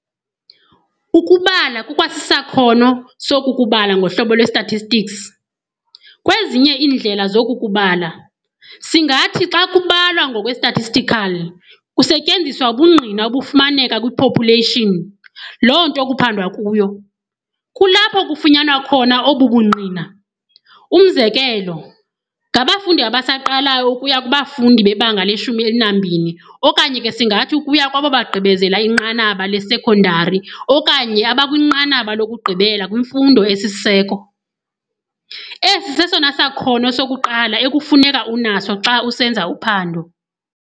Ukubala kukwasisakhono soku kubala ngohlobo lwe-statistics. kwezinye iindlela zoku kubala, singathi xa kubalwa ngokwe-statistical, kusetyenziswa ubungqina obufumaneka kwi-population, loo nto kuphandwa kuyo, kulapho kufunyanwa khona obu bungqina, Umzekelo, ngabafundi abasaqalayo ukuya kubafundi bebanga le-12 okanye ke singathi ukuya kwabo bagqibezela inqanaba le-sekondari okanye abakwinqanaba lokugqibela kwimfundo esisiseko, esi sesona sakhono sokuqala ekufuneka unaso xa usenza uphando.